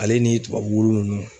Ale ni tubabu wulu nunnu